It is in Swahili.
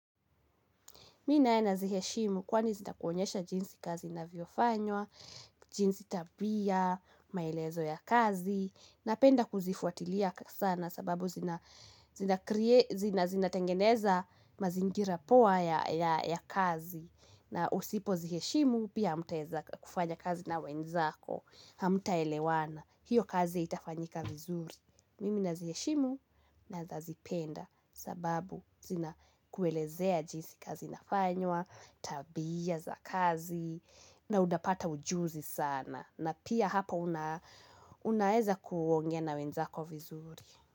Mi naye naziheshimu kwani zita kuonyesha jinsi kazi inavyofanywa, jinsi tabia, maelezo ya kazi, napenda kuzifuatilia kabisa na sababu zina zina tengeneza mazingira poa ya kazi. Na usipo ziheshimu pia hamutaeza kufanya kazi na wenzako, hamtaelewana, hiyo kazi haitafanyika vizuri. Mimi naziheshimu na nazipenda sababu zina kuelezea jinsi kazi inafanywa, tabia za kazi na utapata ujuzi sana na pia hapa unaeza kuongea na wenzako vizuri.